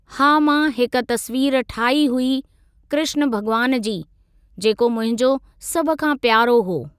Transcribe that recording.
हा मां हिक तस्वीर ठाही हुई कृष्ण भॻवान जी, जेको मुंहिंजो सभ खां प्यारो हो।